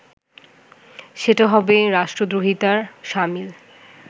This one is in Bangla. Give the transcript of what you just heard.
সেটা হবে রাষ্ট্রদ্রোহিতার শামিল